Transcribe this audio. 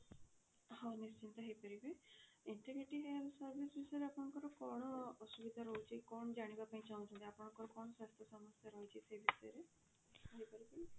ହଁ ନିଶ୍ଚିନ୍ତ ହେଇପାରିବେ integrating health service ବିଷୟରେ ଆପଣଙ୍କର କଣ ଅସୁବିଧା ରହୁଛି କଣ ଜାଣିବା ପାଇଁ ଚାହୁଁଛନ୍ତି ଆପଣଙ୍କର କଣ ସ୍ୱାସ୍ଥ୍ୟ ସମସ୍ୟା ରହୁଛି ସେ ବିଷୟରେ କହି ପାରିବେ